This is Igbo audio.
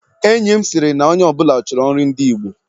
Enyi m sịrị na onye ọ bụla chọrọ nri ndị Igbo